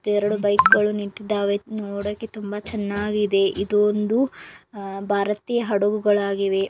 ಮತ್ತೆಎರಡು ಬೈಕ್‌ಗಳು ನಿಂತಿದ್ದಾವೆ ನೋಡೋಕೆ ತುಂಬಾ ಚೆನ್ನಾಗಿದೆ. ಇದು ಒಂದು ಅಹ್ ಭಾರತೀಯ ಹಡಗುಗಳಾಗಿವೆ.